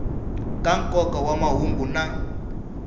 ka nkoka wa mahungu na